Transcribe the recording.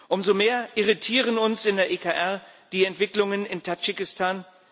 Umso mehr irritieren uns in der EKR die Entwicklungen in Tadschikistan.